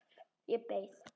Ég beið.